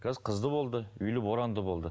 қазір қызды болды үйлі боранды болды